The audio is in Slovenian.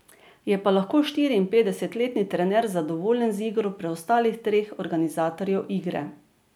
Je pa lahko štiriinpetdesetletni trener zadovoljen z igro preostalih treh organizatorjev igre.